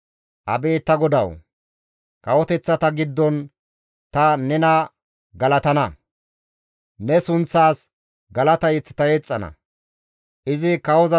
Abeet ta GODAWU! Kawoteththata giddon ta nena galatana; ne sunththaas galata mazamure ta yexxana.